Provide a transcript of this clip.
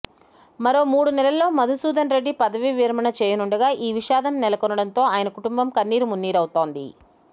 మరో మూడు నెలల్లో మధుసూదన్రెడ్డి పదవీ విరమణ చేయనుండగా ఈ విషాదం నెలకొనడంతో ఆయన కుటుంబం కన్నీరుమున్నీరవుతోంది